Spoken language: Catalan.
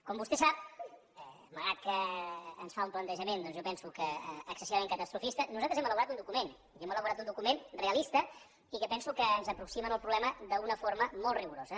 com vostè sap malgrat que ens fa un plantejament doncs jo penso que excessivament catastrofista nosaltres hem elaborat un document hem elaborat un document realista i que penso que ens aproxima en el problema d’una forma molt rigorosa